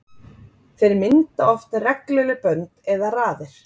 Þeir mynda oft regluleg bönd eða raðir.